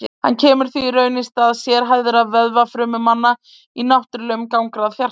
Hann kemur því í raun í stað sérhæfðu vöðvafrumanna í náttúrlegum gangráði hjartans.